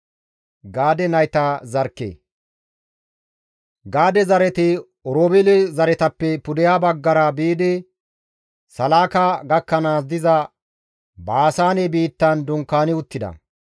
Gaade zareti Oroobeele zaretappe pudeha baggara biidi Salaaka gakkanaas diza Baasaane biittan dunkaani uttida.